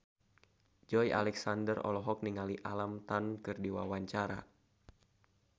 Joey Alexander olohok ningali Alam Tam keur diwawancara